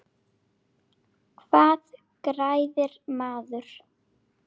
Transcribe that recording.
Hvað græðir maður?